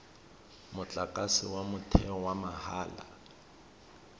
motlakase wa motheo wa mahala